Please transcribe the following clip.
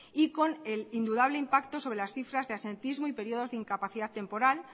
y con el indudable impacto sobre las cifras de absentismo y periodos de incapacidad temporal